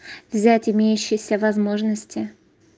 взять имеющиеся возможности